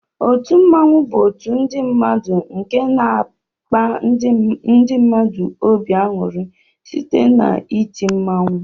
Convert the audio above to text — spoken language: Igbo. Otu mmụọnwu bu otu ndi mmadu nke na akpa ndi mmadu obi anyụri site na iti mmụọnwụ.